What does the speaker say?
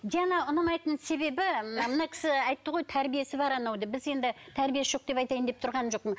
диана ұнамайтын себебі мына мына кісі айтты ғой тәрбиесі бар анау деп біз енді тәрбиесі жоқ деп айтайын деп тұрған жоқпын